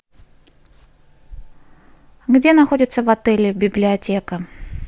где находится в отеле библиотека